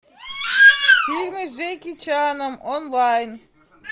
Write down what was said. фильмы с джеки чаном онлайн